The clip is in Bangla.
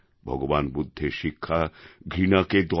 ভগবান বুদ্ধের শিক্ষা ঘৃণাকে দয়ায়